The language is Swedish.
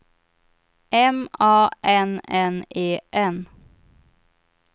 M A N N E N